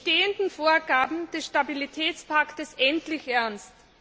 die bestehenden Vorgaben des Stabilitätspakts endlich ernst.